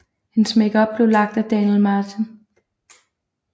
Hendes makeup blev lagt af Daniel Martin